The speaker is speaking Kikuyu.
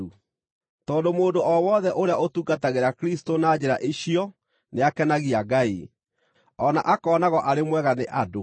tondũ mũndũ o wothe ũrĩa ũtungatagĩra Kristũ na njĩra icio nĩakenagia Ngai, o na akoonagwo arĩ mwega nĩ andũ.